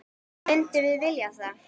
Myndum við vilja það?